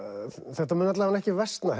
þetta mun alla vega ekki versna